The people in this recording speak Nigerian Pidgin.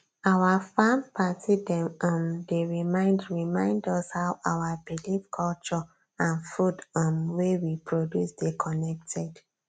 our farm party dem um dey remind remind us how our believe culture and food um wey we produce dey connected